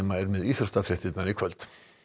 er með íþróttafréttir í kvöld